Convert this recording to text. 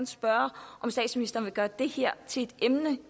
spørge om statsministeren vil gøre det her til et emne